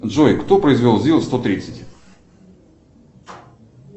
джой кто произвел зил сто тридцать